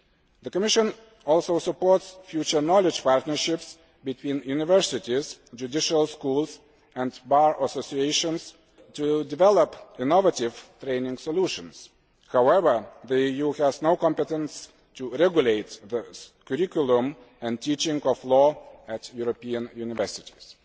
The Commission also supports future knowledge partnerships between universities, judicial schools and bar associations to develop innovative training solutions. However, the EU has no competence to regulate the curriculum and teaching of law at European universities.